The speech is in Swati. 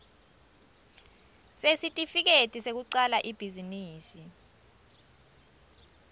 sesitifiketi sekucala ibhizinisi